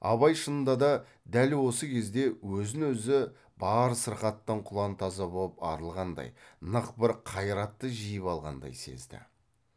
абай шынында да дәл осы кезде өзін өзі бар сырқаттан құлантаза боп арылғандай нық бір қайратты жиып алғандай сезді